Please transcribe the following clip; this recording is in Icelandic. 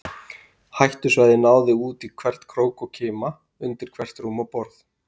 Hættusvæðið náði út í hvern krók og kima, undir hvert rúm og borð.